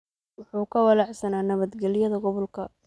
Wuxuu ka walaacsanaa nabadgelyada gobolka.